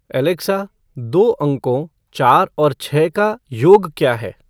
Alexa दो अंकों चार और छह का योग क्या है